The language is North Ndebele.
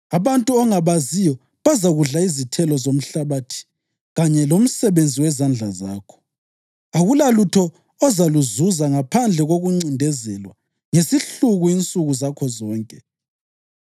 Abantu ongabaziyo bazakudla izithelo zomhlabathi kanye lomsebenzi wezandla zakho, akulalutho ozaluzuza ngaphandle kokuncindezelwa ngesihluku insuku zakho zonke.